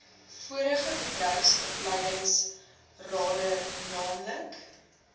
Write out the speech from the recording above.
vorige bedryfsopleidingsrade naamlik